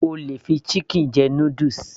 O lè fi chicken jẹ noodles